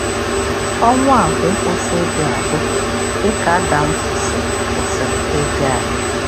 Ọnwụ a bụ ịkwụsị ịdị adị, dị ka Adam kwụsịrị kwụsịrị ịdị adị.